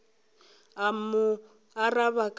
a mo araba ka la